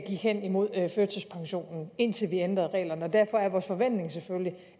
hen imod førtidspension indtil vi ændrede reglerne og derfor er vores forventning selvfølgelig